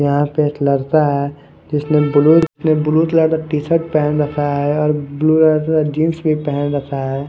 यहाँ पे एक लड़का हैं जिसने ब्लू कलर का टी शर्ट पहन रखा हैं और ब्लू अ जीन्स भी पहन रखा हैं ।